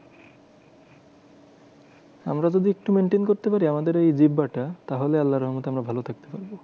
আমরা যদি একটু maintain করতে পারি আমাদের এই জিব্বটা তাহলে আল্লার রহমতে আমরা ভালো থাকতে পারবো।